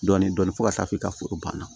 Dɔɔnin dɔɔnin fo ka taa f'i ka foro banna